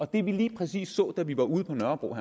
det vi lige præcis så da vi var ude på nørrebro